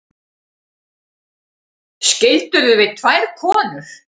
Skildirðu við tvær konur?